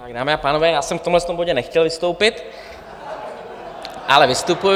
Dámy a pánové, já jsem v tomhle bodě nechtěl vystoupit, ale vystupuji.